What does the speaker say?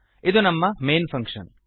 ಇದು ನಮ್ಮ main function